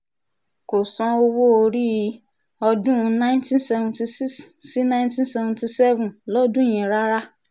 kò san owó-orí ọdún nineteen seventy six sí nineteen seventy seven lọ́dún yẹn rárá